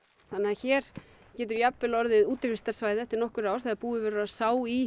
hér getur jafnvel orðið útivistarsvæði eftir nokkur ár þegar búið verður að sá í